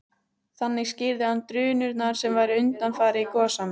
Þannig skýrði hann drunurnar sem væru undanfari gosanna.